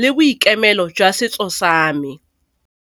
le boikemelo jwa setso sa me.